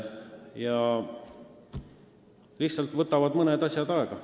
Mõned asjad võtavad lihtsalt aega.